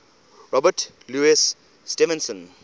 robert louis stevenson